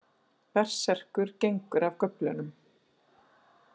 Berserkur gengur af göflunum.